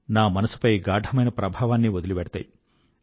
నా మనసుపై గాఢమైన ప్రభావాన్ని వదిలివెళ్తాయి